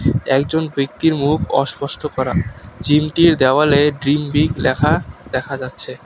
একজন ব্যক্তির মুখ অস্পষ্ট করা জিমটির দেওয়ালে ড্রিম বিগ লেখা দেখা যাচ্ছে।